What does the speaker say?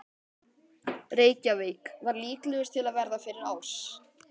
Reykjavík var líklegust til að verða fyrir árs.